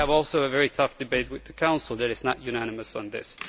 So we also have a very tough debate with the Council, which is not unanimous on this.